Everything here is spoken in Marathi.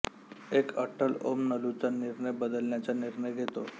एक अट्टल ओम नलूचा निर्णय बदलण्याचा निर्णय घेतो